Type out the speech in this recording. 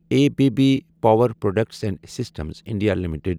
A B B power products and systems India limited